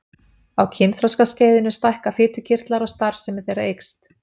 Á kynþroskaskeiðinu stækka fitukirtlar og starfsemi þeirra eykst.